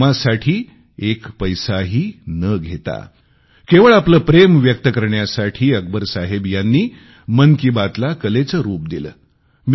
या कामासाठी एक पैसाही न घेता केवळ आपले प्रेम व्यक्त करण्यासाठी अकबर साहेब यांनी मन की बातला कलेचे रूप दिले